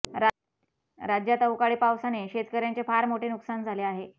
राज्यात अवकाळी पावसाने शेतकऱ्यांचे फार मोठे नुकसान झाले आहे